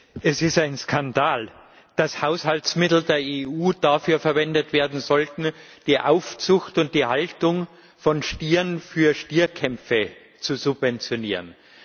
Herr Präsident! Es ist ein Skandal, dass Haushaltsmittel der EU dafür verwendet werden sollten, die Aufzucht und die Haltung von Stieren für Stierkämpfe zu subventionieren.